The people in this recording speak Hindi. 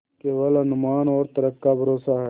केवल अनुमान और तर्क का भरोसा है